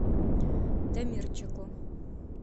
дамирчику